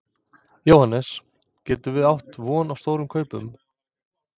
Jóhannes: Getum við átt von á stóru hlaupi?